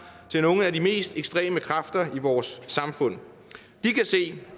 til nogle af de mest ekstreme kræfter i vores samfund de kan se